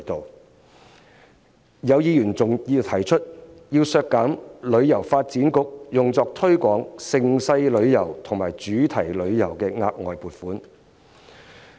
還有議員提出削減香港旅遊發展局用作推廣盛事旅遊和主題旅遊的額外撥款。